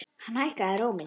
Hann hækkaði róminn.